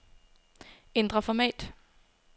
Ændr format.